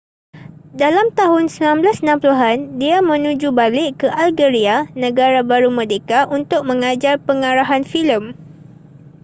dalam tahun 1960an dia menuju balik ke algeria negara baru merdeka untuk mengajar pengarahan filem